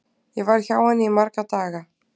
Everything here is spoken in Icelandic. Ég var hjá henni í marga daga.